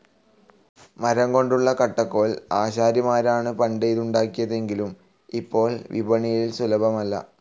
മരംകൊണ്ടുളള കട്ടകോൽ, ആശാരിമാരാണ് പണ്ട് ഇത് ഉണ്ടാക്കിയിരുന്നതെങ്കിലും ഇപ്പോൾ വിപണിയിൽ സുലഭമല്ല.